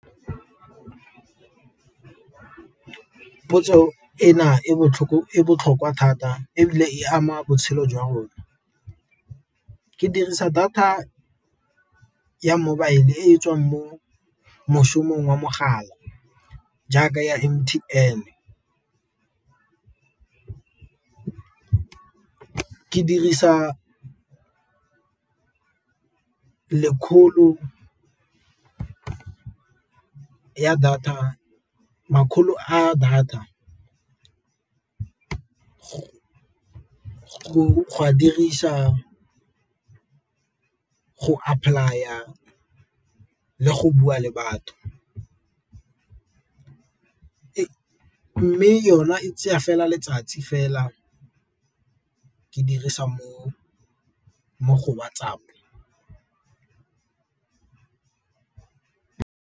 Potso e na e botlhokwa thata ebile e ama botshelo jwa rona, ke dirisa data ya mobile e tswang mo mošong wa mogala jaaka ya M_T_N. Ke dirisa makgolo a data go a dirisa go apply-a le go bua le batho, mme yona e tsaya fela letsatsi fela ke dirisa mo go WhatsApp.